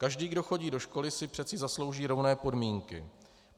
Každý, kdo chodí do školy, si přece zaslouží rovné podmínky.